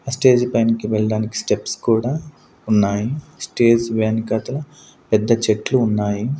ఆ స్టేజ్ పైనకి వెళ్ళడానికి స్టెప్స్ కూడా ఉన్నాయి స్టేజ్ వెనకాతల పెద్ద చెట్లు ఉన్నాయి.